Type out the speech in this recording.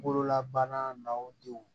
Bololabana na o denw